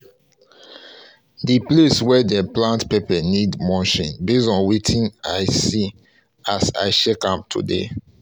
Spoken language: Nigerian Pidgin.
the place wey them plant pepper need mulching base on wetin i see as i check am today